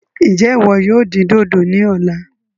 Njẹ iwọ yóò dín dodo ní ọ̀la?